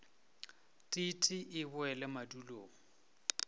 t t e boele madulong